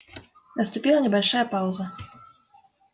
наступила небольшая пауза